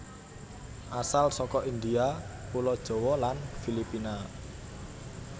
Asal saka India pulo Jawa lan Filipina